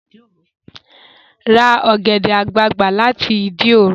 Ra ọ̀gẹ̀dẹ̀ àgbagbà láti Ìdí òro!